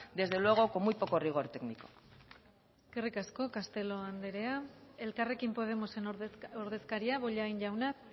desde luego con muy poco rigor técnico eskerrik asko castelo anderea elkarrekin podemosen ordezkaria bollain jauna